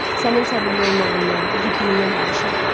Sənin səbirli olmağından, igidliyindən danışırdı.